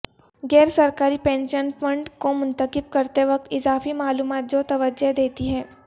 غیر سرکاری pension fund کو منتخب کرتے وقت اضافی معلومات جو توجہ دیتی ہے